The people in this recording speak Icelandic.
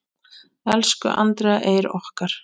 Elsku Andrea Eir okkar.